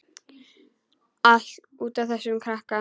Allt út af þessum krakka.